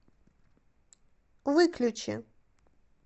выключи